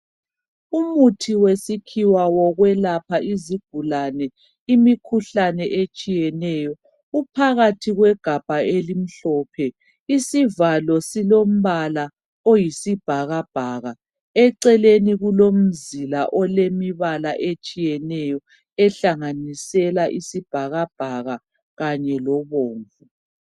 Umuthi wesikhiwa wokwelapha izigulane imikhuhlane etshiyeneyo, uphakathi kwegabha elimhlophe, isivalo silombala oyisibhakabhaka. Eceleni kulomzila olemibala etshiyeneyo ehlanganisela isibhakabhaka, kanye lobomvu.